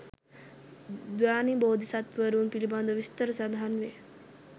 ධ්‍යානී බෝධිසත්වවරුන් පිළිබඳව විස්තර සඳහන් වේ.